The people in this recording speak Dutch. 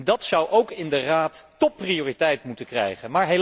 Dat zou ook in de Raad topprioriteit moeten krijgen.